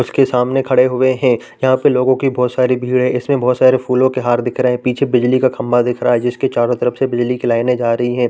इसके सामने खड़े हुए है यहाँ पे लोगों के बहुत सारी भिड़े है इसमें बहुत सारे फूलों के हार दिख रही है पीछे बिजली का खम्भा दिख रहा है जिसके चारों तरफ से बिजली की लाइने जा रही हैं ।